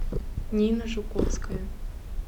нина жуковская